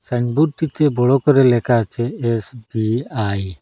সাইনবোর্ডটিতে বড় করে লেখা আছে এস_বি_আই ।